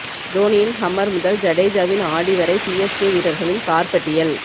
தோனியின் Hummer முதல் ஜடேஜாவின் Audi வரை சிஎஸ்கே வீரர்களின் கார் பட்டியல்